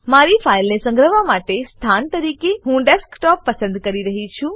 મારી ફાઈલને સંગ્રહવા માટે સ્થાન તરીકે હું ડેસ્કટોપ પસંદ કરી રહ્યી છું